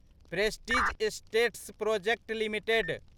prestige Estates Projects limited